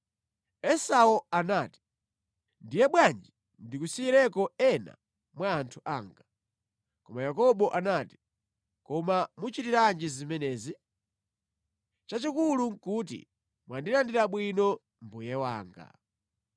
Esau anati, “Ndiye bwanji ndikusiyireko ena mwa anthu anga.” Koma Yakobo anati, “Koma muchitiranji zimenezi? Chachikulu nʼkuti mwandilandira bwino, mbuye wanga.”